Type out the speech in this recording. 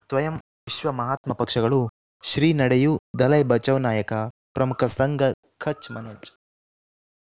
ಸ್ವಯಂ ವಿಶ್ವ ಮಹಾತ್ಮ ಪಕ್ಷಗಳು ಶ್ರೀ ನಡೆಯೂ ದಲೈ ಬಚೌ ನಾಯಕ ಪ್ರಮುಖ ಸಂಘ ಕಚ್ ಮನೋಜ್